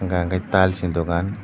hingka hingke tiles ni dogan.